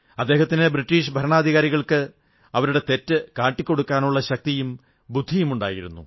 അദ്ദേഹത്തിന് ബ്രിട്ടീഷ് ഭരണാധികാരികൾക്ക് അവരുടെ തെറ്റു കാട്ടിക്കൊടുക്കാനുള്ള ശക്തിയും ബുദ്ധിയുമുണ്ടായിരുന്നു